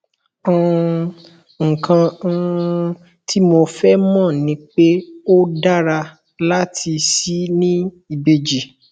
um nǹkan um tí mo fẹ mọ ni pé ó dára láti ṣì ní ìbejì